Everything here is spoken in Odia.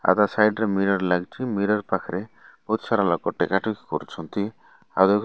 ଆଉ ତା ସାଇଡ ରେ ମିରର ଲାଗିଚି ମିରର ପାଖରେ ବହୁତ ସାରା ଲୋକ ଟିକେଟ କରୁଛନ୍ତି ଆଉ --